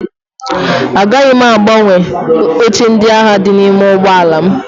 Agaghị m agbanwe oche ndị ahụ dị n'ime ụgbọala m